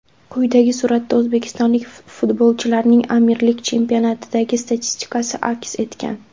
Quyidagi suratda o‘zbekistonlik futbolchilarning Amirlik chempionatidagi statistikasi aks etgan.